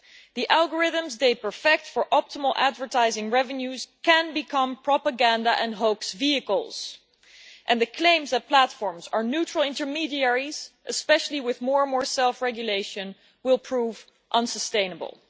The algorithms they perfect for optimal advertising revenues can become propaganda and hoax vehicles and the claims that platforms are neutral intermediaries, especially with more and more self regulation, will prove unsustainable.